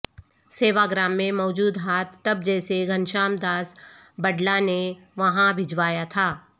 سیواگرام میں موجود bath tub جسے گھنشیام داس بڈلا نے وہاں بھجوایا تھا